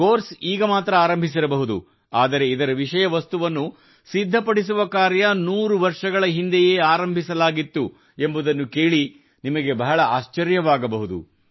course ಈಗ ಮಾತ್ರ ಆರಂಭಿಸಿರಬಹುದು ಆದರೆ ಇದರ ವಿಷಯವಸ್ತುವನ್ನು ಸಿದ್ಧಪಡಿಸುವ ಕಾರ್ಯ ನೂರು ವರ್ಷಗಳ ಹಿಂದೆಯೇ ಆರಂಭಿಸಲಾಗಿತ್ತು ಎಂಬುದನ್ನು ಕೇಳಿ ನಿಮಗೆ ಬಹಳ ಆಶ್ಚರ್ಯವಾಗಬಹುದು